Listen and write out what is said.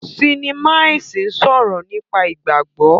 Sinima ẹsìn sọrọ nípa ìgbàgbọ.